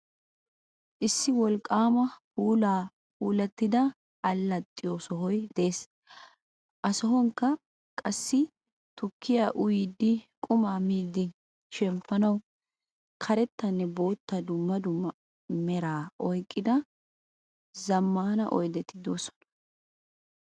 Issi wolqaama puula puulatida allaaxiyo sohoy de'ees. Ha sohuwanikka qaasi tuukkiya uyiyiddi quma miidi sheempanawu kareetta boottanne dumma dumma meera oyiqqida zammana oyiddeti de'oosona.